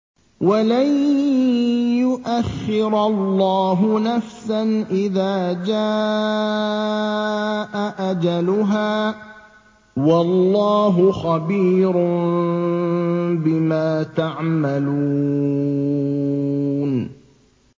وَلَن يُؤَخِّرَ اللَّهُ نَفْسًا إِذَا جَاءَ أَجَلُهَا ۚ وَاللَّهُ خَبِيرٌ بِمَا تَعْمَلُونَ